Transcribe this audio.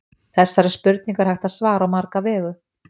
þessari spurningu er hægt að svara á marga vegu